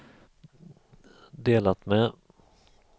delat med